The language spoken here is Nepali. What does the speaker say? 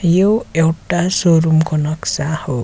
यो एउटा शोरुम को नक्सा हो।